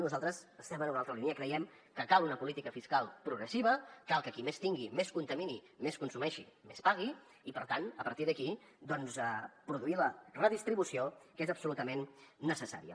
nosaltres estem en una altra línia creiem que cal una política fiscal progressiva cal que qui més tingui més contamini més consumeixi més pagui i per tant a partir d’aquí produir la redistribució que és absolutament necessària